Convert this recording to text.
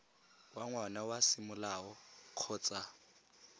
wa ngwana wa semolao kgotsa